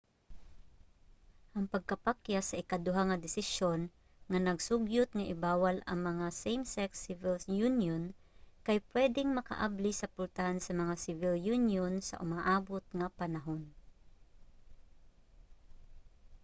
ang pagkapakyas sa ikaduha nga desisyon nga nag-sugyot nga i-bawal ang mga same-sex civil union kay pwedeng makaabli sa pultahan sa mga civil union sa umaabot nga panahon